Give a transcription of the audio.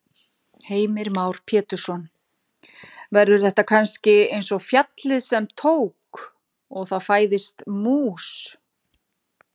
Heimir Már Pétursson: Verður þetta kannski eins og fjallið sem tók. og það fæðist mús?